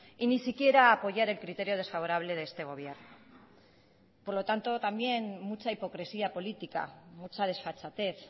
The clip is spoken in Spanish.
y ni siquiera apoyar el criterio desfavorable de este gobierno por lo tanto también mucha hipocresía política mucha desfachatez